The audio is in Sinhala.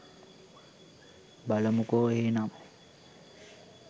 බලමුකෝ එහෙනම්